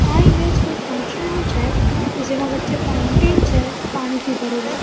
આ ઈમેજ કોઈ ફંકશન નું છે કે જેમાં વચ્ચે ફાઉન્ટેન છે પાણીથી ભરેલો.